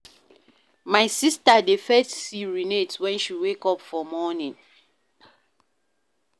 My sista dey first urinate wen she wake for morning.